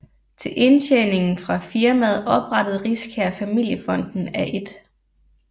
Til indtjeningen fra firmaet oprettede Riskær Familiefonden af 1